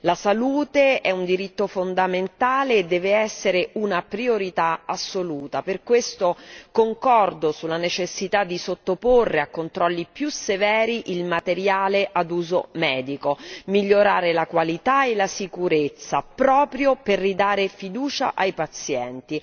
La salute è un diritto fondamentale e deve essere una priorità assoluta, per questo concordo sulla necessità di sottoporre a controlli più severi il materiale ad uso medico, migliorandone la qualità e la sicurezza proprio per ridare fiducia ai pazienti.